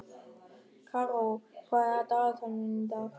Karó, hvað er á dagatalinu mínu í dag?